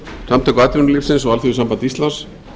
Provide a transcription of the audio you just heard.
samtök atvinnulífsins og alþýðusamband íslands